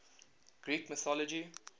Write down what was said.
greek mythology